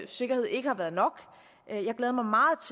sikkerhed ikke har været nok